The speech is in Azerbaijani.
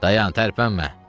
Dayan, tərpənmə!